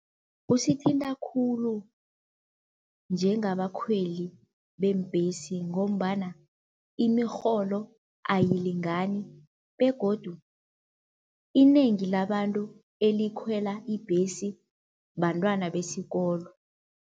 Kusithinta khulu njengabakhweli bembhesi ngombana imirholo ayilingani begodu inengi labantu elikhwela ibhesi bantwana besikolo.